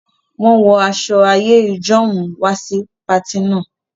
Wọn wọ aṣọ àìyẹ́ ìjọ̀un wà sì pààtì náà